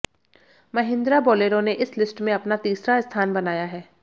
Mahindra Bolero ने इस list में अपना तीसरा स्थान बनाया है